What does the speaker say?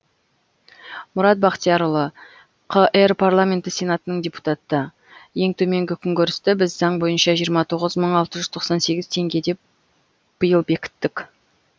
мұрат бақтиярұлы қр парламенті сенатының депутаты ең төменгі күнкөрісті біз заң бойынша жиырма тоғыз мың алты жүз тоқсан сегіз теңге деп биыл бекіттік